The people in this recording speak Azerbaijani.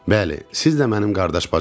Bəli, siz də mənim qardaş bacılarım.